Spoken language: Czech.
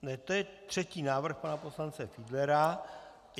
To je třetí návrh pana poslance Fiedlera.